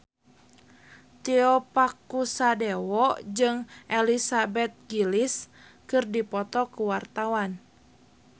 Tio Pakusadewo jeung Elizabeth Gillies keur dipoto ku wartawan